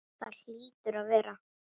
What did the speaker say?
Það hlýtur að vera.